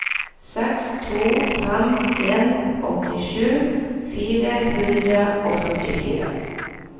seks to fem en åttisju fire hundre og førtifire